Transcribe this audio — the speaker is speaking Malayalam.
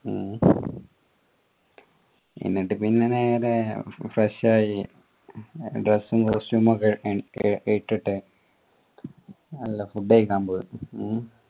എന്നിട്ട് പിന്നെ നേരെ fresh ആയി dress costume ഒക്കെ എനിക്ക് ഇട്ടിട്ട് നല്ല food കൈക്കാൻ പോയി ഉം